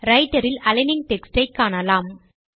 writer இல் aligning text ஐ காணலாம்